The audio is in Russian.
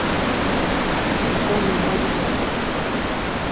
колю мурзина